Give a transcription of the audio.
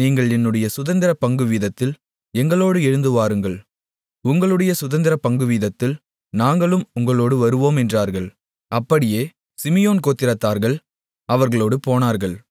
நீங்கள் என்னுடைய சுதந்திரப் பங்குவீதத்தில் எங்களோடு எழுந்துவாருங்கள் உங்களுடைய சுதந்திரப் பங்குவீதத்தில் நாங்களும் உங்களோடு வருவோம் என்றார்கள் அப்படியே சிமியோன் கோத்திரத்தார்கள் அவர்களோடு போனார்கள்